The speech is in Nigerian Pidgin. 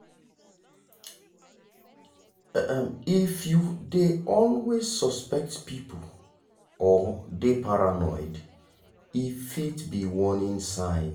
if you dey always suspect people or dey paranoid e fit be warning sign.